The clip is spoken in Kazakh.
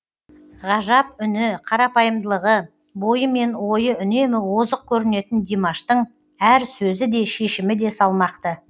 ғажап үні қарапайымдылығы бойы мен ойы үнемі озық көрінетін димаштың әр сөзі де шешімі де салмақты